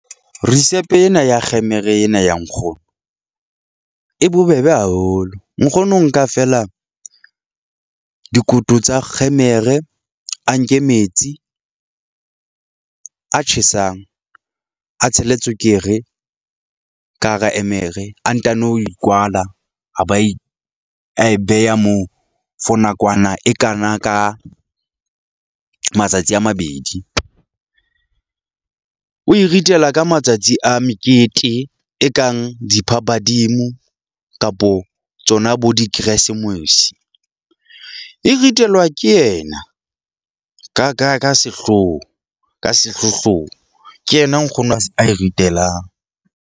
Risepe ena ya kgemere ena ya nkgono e bobebe haholo. Nkgono o nka feela dikoto tsa kgemere, a nke metsi a tjhesang, a tshele tswekere ka hara emere, a ntano e kwala a ba e a e beha moo for nakwana e kana ka matsatsi a mabedi. O e ritela ka matsatsi a mekete e kang diphabadimo kapo tsona bo dikeresemose. E ritelwa ke yena ka ka ka sehloho ka sehlohlolong ke yena nkgono a se a e ritelang.